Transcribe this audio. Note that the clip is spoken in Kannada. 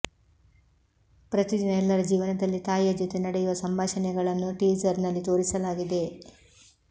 ಪ್ರತಿದಿನ ಎಲ್ಲರ ಜೀವನದಲ್ಲಿ ತಾಯಿಯ ಜೊತೆ ನಡೆಯುವ ಸಂಭಾಷಣೆಗಳನ್ನು ಟೀಸರ್ ನಲ್ಲಿ ತೋರಿಸಲಾಗಿದೆ